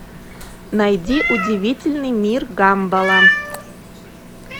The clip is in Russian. найди удивительный мир гамбола